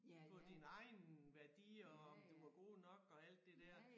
På dine egne værdier og om du var god nok og alt det der